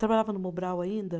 Trabalhava no Mobral ainda?